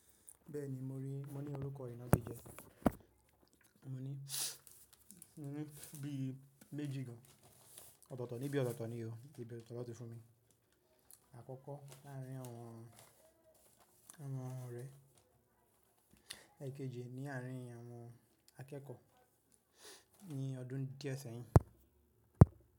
Bẹ́ẹ̀ni, mo rí, mo ní orúkọ ìnágije Mo ní, mo ní bí méjì gan, ọ̀tọ̀ọ̀tọ̀ níbí ọ̀tọ̀ọ̀tọ̀ ni o, ìbi otóto lanti fún mi. Àkọ́kọ́ láàárín àwọn, àwọn orẹ, ekejì ni àárín àwọn akẹ́kọ̀ọ́ ní ọdún díẹ̀ sẹ́yìn.